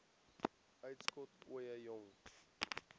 uitskot ooie jong